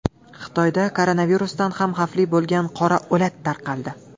Xitoyda koronavirusdan ham xavfli bo‘lgan qora o‘lat tarqaldi.